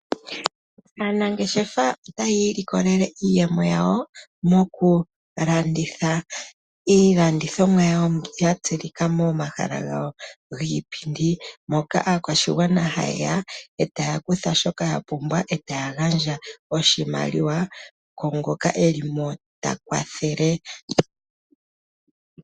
Aanangeshefa otaya i likolele iiyemo yawo mokulanditha iilandithomwa yawo mbyoka yatsilika momahala gawo giipindi moka aakwashigwana haye ya e taa kutha shoka ya pumbwa e taya gandja oshimaliwa ku ngoka e li mo ta kwathele.